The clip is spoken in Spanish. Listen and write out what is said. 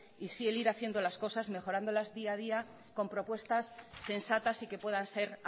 y sí el ir haciendo las cosas mejorándolas día a día con propuestas sensatas y que puedan ser